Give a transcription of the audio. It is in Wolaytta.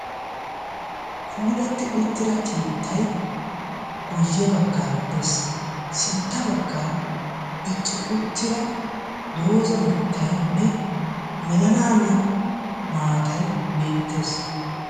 puulatti uttida keettay guyye baggaara de7ees. sintta baggaara dicci uttida doozza mittaynne melanaaniyaa maatay beettees.